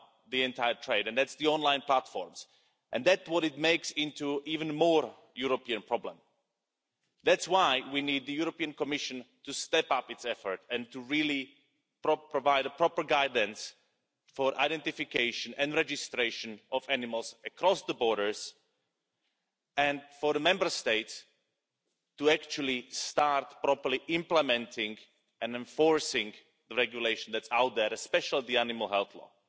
the entire trade, and that's the online platforms. And that's what makes it even more of a European problem. That's why we need the European Commission to step up its efforts and to really provide proper guidance for identification and registration of animals across the borders, and for the Member States to actually start properly implementing and enforcing the regulation that's out there, especially the animal health